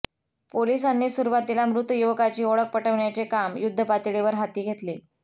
पोलिसांनी सुरुवातीला मृत युवकाची ओळख पटवण्याचे काम युध्दपातळीवर हाती घेतले